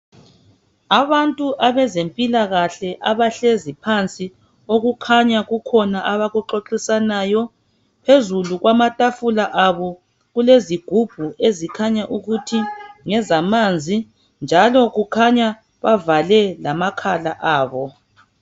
Abantu abezempilakahle abahlezi phansi okukhanya kukhona abakuxoxisanayo phezulu kwamatafula abo kulezigubhu ezikhanya ukuthi ngezamanzi njalo kukhanya bavale lamakhala abo